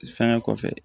Fɛnkɛ kɔfɛ